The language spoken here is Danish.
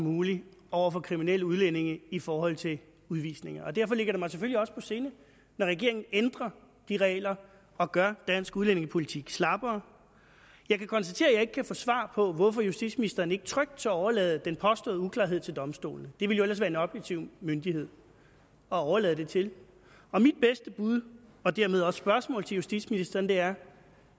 muligt over for kriminelle udlændinge i forhold til udvisninger derfor ligger det mig selvfølgelig også på sinde når regeringen ændrer de regler og gør dansk udlændingepolitik slappere jeg kan konstatere at jeg ikke kan få svar på hvorfor justitsministeren ikke trygt tør overlade den påståede uklarhed til domstolene det ville jo ellers være en objektiv myndighed at overlade det til mit bedste bud og dermed også spørgsmål til justitsministeren er